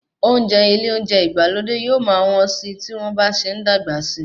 Oúnjẹ ilé oúnjẹ ìgbàlódé yóò máa wọ́n síi tí wọ́n bá ṣe ń dàgbà sí.